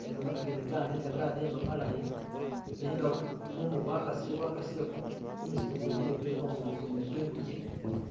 ni gamatu gene gademba malayi nenga mumu gwakasile gwakasile kumisitu kwene ni kumugongo kwene kwe nguje.